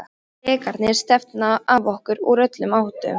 Drekarnir stefna að okkur úr öllum áttum.